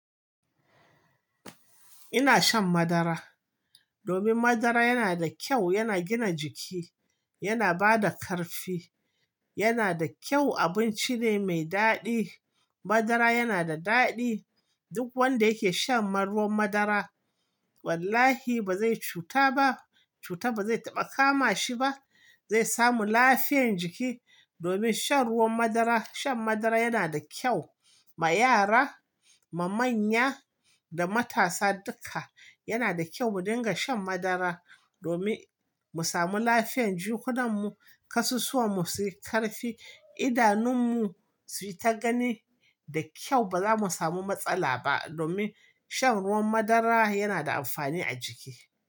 Ina shan madara domin madara yana da kyau, yana gina jiki, yana bada ƙarfi. Yana da kyau, abinci ne mai daɗi. Madara yana da daɗi. Duk wanda yake shan ruwan madara wallahi ba zai cuta ba, cuta ba zai taɓa kama shi ba. Zai samu lafiyan jiki domin shan ruwan madara. Shan madara yana da kyau ma yara, ma manya da matasa duka. Yana da kyau mu dinga shan madara domin mu samu lafiyan jikunanmu, ƙasusuwanmu suyi ƙarfi, idanunmu suyi ta gani da kyau. Ba za mu samu matsala ba domin shan ruwan madara yana da amfani a jiki.